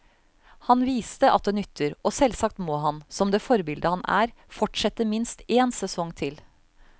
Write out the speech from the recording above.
Han viste at det nytter, og selvsagt må han, som det forbilde han er, fortsette minst en sesong til.